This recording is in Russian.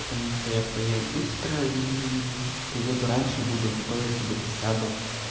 потому что я поел быстро и приеду раньше буду готовиться где-то сяду